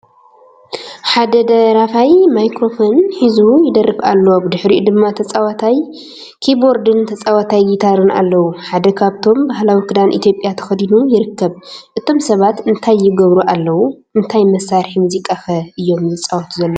ሓደ ደራፋይ ማይክሮፎን ሒዙ ይደርፍ ኣሎ፡ ብድሕሪኡ ድማ ተጻዋታይ ኪቦርድን ተጻዋታይ ጊታርን ኣለዉ። ሓደ ካብኣቶም ባህላዊ ክዳን ኢትዮጵያ ተኸዲኑ ይርከብ። እቶም ሰባት እንታይ ይገብሩ ኣለዉ? እንታይ መሳርሒ ሙዚቃከ እዮም ዝጻወቱ ዘለዉ?